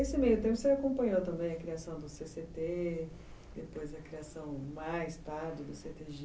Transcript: Esse meio tempo você acompanhou também a criação do cê cê tê, depois a criação mais tarde do